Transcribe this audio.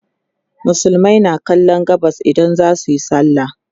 musulmai na kallon gabas idan zasuyi sallah